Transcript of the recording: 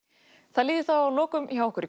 það líður þá að lokum hjá okkur